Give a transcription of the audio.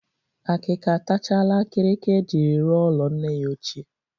Akịka atachala akịrịka e jiri rụọ ụlọ nne ya ochie